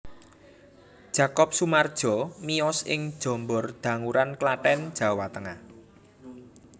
Jakob Sumardjo miyos ing Jombor Danguran Klaten Jawa Tengah